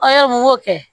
n ko kɛ